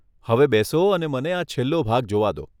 હવે બેસો અને મને આ છેલ્લો ભાગ જોવા દો.